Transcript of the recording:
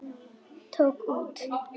Tók út.